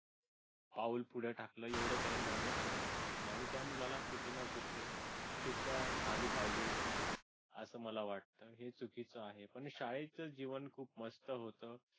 पाऊल पुढे टाकलं एवढ्याने नव्हतं टाकायला पाहिजे होतं आणि त्या मुलांना कुठे ना कुठे शिक्षा झाली पाहिजे असं मला वाटतं हे चुकीच आहे आणि शाळेत जीवन खूप मस्त होतं.